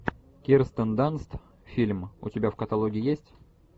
кирстен данст фильм у тебя в каталоге есть